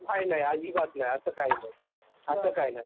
नाही नाही अजिबात नाही असा कही नाही